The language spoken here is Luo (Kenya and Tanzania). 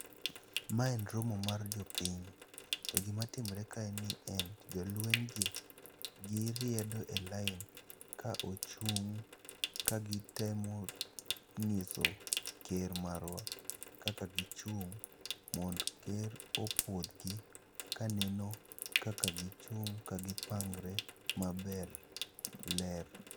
Ma en romo mar jopiny. To gima timre ka en ni en jolweny gi giriedo e lain, kagichung' kagitemo ng'iso ker marwa kaka gichung'. Mond ker opuodh gi kaneno kaka gichung' kagipangre maber ler.